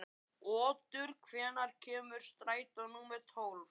Otur, hvenær kemur strætó númer tólf?